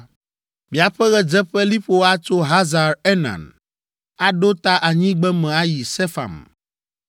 Miaƒe ɣedzeƒeliƒo atso Hazar Enan aɖo ta anyigbeme ayi Sefam